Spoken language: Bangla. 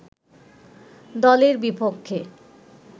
দলের বিপক্ষে